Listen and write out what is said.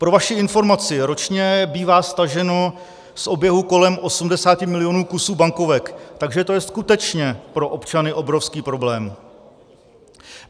Pro vaši informaci, ročně bývá staženo z oběhu kolem 80 milionů kusů bankovek, takže to je skutečně pro občany obrovský problém.